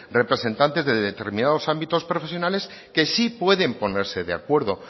representantes de determinados ámbitos profesionales que sí pueden ponerse de acuerdo